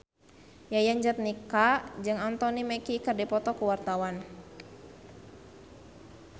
Yayan Jatnika jeung Anthony Mackie keur dipoto ku wartawan